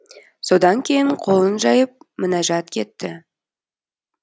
содан кейін қолын жайып мінәжат етті